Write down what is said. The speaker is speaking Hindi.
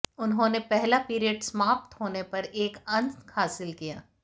उन्होंने पहला पीरियड समाप्त होने पर एक अंक हासिल किया